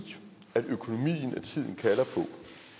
at økonomien